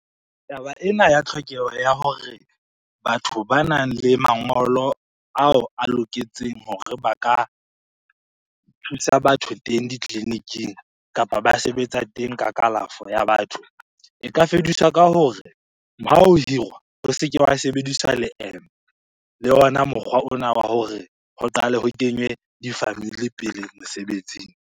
Taba ena ya tlhokeho ya hore batho ba nang le mangolo ao a loketseng hore ba ka thusa batho teng ditleliniking kapa ba sebetsa teng ka kalafo ya batho. E ka fediswa ka hore, ha ho hirwa ho se ke wa sebediswa leeme le ona mokgwa ona wa hore ho qale ho kenywe di-family pele mosebetsing.